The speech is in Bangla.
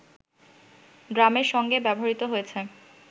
ড্রামের সঙ্গে ব্যবহৃত হয়েছে